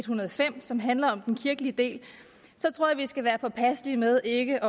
hundrede og fem som handler om den kirkelige del at vi skal være påpasselige med ikke